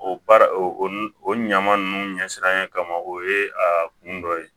O baara o ɲama ninnu ɲɛsiranɲɛ kama o ye a kun dɔ ye